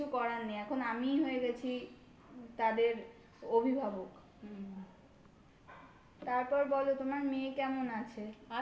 কিছু করার নেই. এখন আমিই হয়ে গেছি তাদের অভিভাবক. তারপর বলো তোমার মেয়ে কেমন আছে?